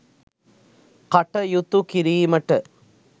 කටයුතු කිරීමට